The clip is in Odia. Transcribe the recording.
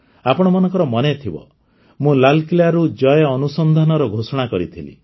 ଆପଣମାନଙ୍କର ମନେଥିବ ମୁଁ ଲାଲକିଲ୍ଲାରୁ ଜୟ ଅନୁସନ୍ଦାନର ଘୋଷଣା କରିଥିଲି